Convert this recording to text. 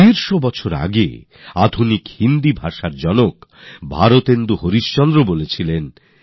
দেড়শো বছর আগে আধুনিক হিন্দির জনক ভারতেন্দু হরিশচন্দ্র জী বলেছিলেন